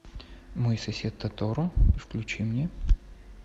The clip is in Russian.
мой сосед тоторо включи мне